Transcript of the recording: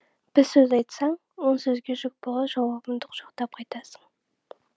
бір сөз айтсаң он сөзге жүк болар жауабыңды құшақтап қайтасың